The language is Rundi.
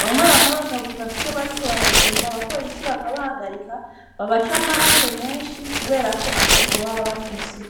bamwe bamwe, bakavuga ko, iyo bariko baragenda, abapolisi bakabahagarika, babaca amande menshi, kubera ko, atabwo baba bafise.